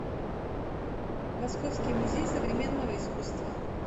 московский музей современного искусства